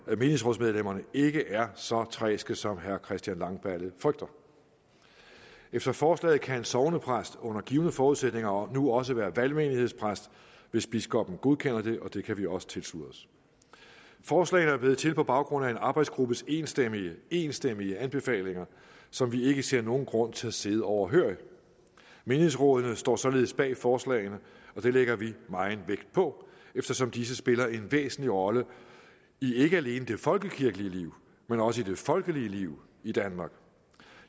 menighedsrådsmedlemmerne ikke er så træske som herre christian langballe frygter efter forslaget kan en sognepræst under givne forudsætninger nu også være valgmenighedspræst hvis biskoppen godkender det og det kan vi også tilslutte os forslaget er blevet til på baggrund af en arbejdsgruppes enstemmige enstemmige anbefalinger som vi ikke ser nogen grund til at sidde overhørig menighedsrådene står således bag forslagene og det lægger vi meget vægt på eftersom disse spiller en væsentlig rolle ikke alene i det folkekirkelige liv men også i det folkelige liv i danmark